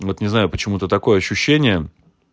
вот не знаю почему-то такое ощущение